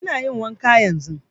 Ina yin wanka yanzun